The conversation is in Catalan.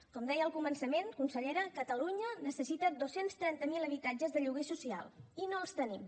com deia al començament consellera catalunya necessita dos cents i trenta miler habitatges de lloguer social i no els tenim